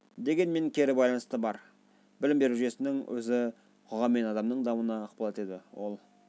дегенмен кері байланыс та бар білім беру жүйесінің өзі қоғам мен оның дамуына ықпал етеді ол